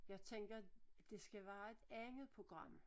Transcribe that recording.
Jeg tænker det skal være et andet program